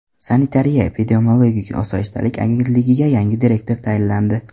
Sanitariya-epidemiologik osoyishtalik agentligiga yangi direktor tayinlandi.